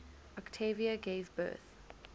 octavia gave birth